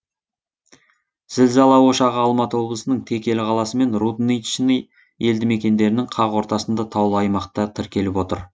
зілзала ошағы алматы облысының текелі қаласы мен рудничный елді мекендерінің қақ ортасында таулы аймақта тіркеліп отыр